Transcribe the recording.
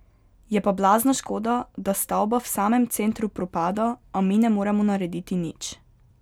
Je pa blazna škoda, da stavba v samem centru propada, a mi ne moremo narediti nič.